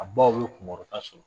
A baw ye kunkɔrɔta sɔrɔ